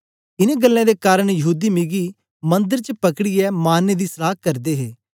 इनें गल्लें दे कारन यहूदी मिगी मंदर च पकड़ीयै मारने दी सलाह करदे हे